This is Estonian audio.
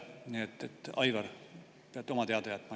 Nii et, Aivar, peate selle oma teada jätma.